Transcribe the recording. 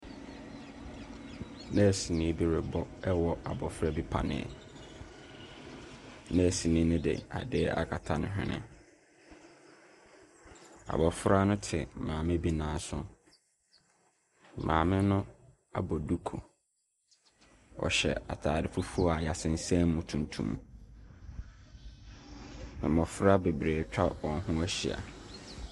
Nɛɛseni bi rebɔ rewɔ abɔfra bi paneɛ. Nɛɛseni no de adeɛ akata ne hwene. Abɔfra no te maame bi nan so. Maame no abɔ duku. Ɔhyɛ atade fufuo a wɔasensan mu tuntum. Mmɔfra bebree atwa wɔn ho ahyia.